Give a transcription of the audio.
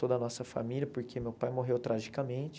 Toda a nossa família, porque meu pai morreu tragicamente.